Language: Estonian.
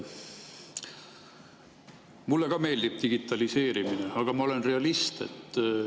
Mulle ka meeldib digitaliseerimine, aga ma olen realist.